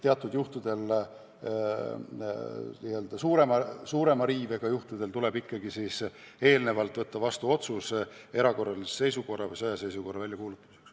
Teatud juhtudel, n-ö suurema riivega juhtudel tuleb ikkagi võtta vastu otsus erakorralise seisukorra või sõjaseisukorra väljakuulutamiseks.